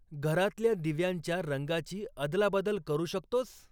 घरातल्या दिव्यांच्या रंगाची अदलाबदल करू शकतोस?